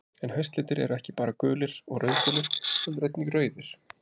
En haustlitir eru ekki bara gulir og rauðgulir, heldur einnig rauðir.